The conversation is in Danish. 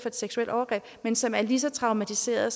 et seksuelt overgreb men som er lige så traumatiserede